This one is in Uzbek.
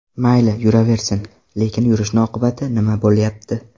Mayli, yuraversin, lekin yurishni oqibati nima bo‘lyapti.